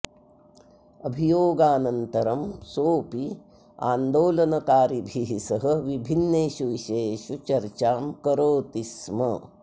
अभियोगानन्तरं सोऽपि आन्दोलनकारिभिः सह विभिन्नेषु विषयेषु चर्चां करोति स्म